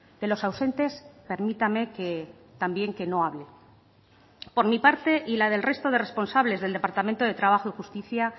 de los ausentes permítame que también que no hable por mi parte y la del resto de responsables del departamento de trabajo y justicia